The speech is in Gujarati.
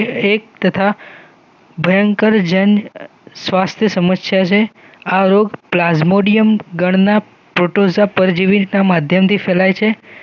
એક તથા ભયંકર જન સ્વાસ્થ્ય સમસ્યા છે આ રોગ પ્લાસ્મોડિયમગણના પ્રોટોઝા પરજીવીના માધ્યમથી ફેલાય છે